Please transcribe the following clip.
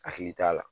Hakili t'a la